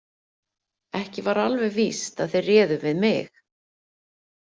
Ekki var alveg víst að þeir réðu við mig.